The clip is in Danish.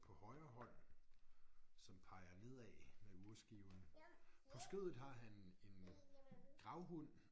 På højre hånd som peger nedad øh urskiven. På skødet har han en gravhund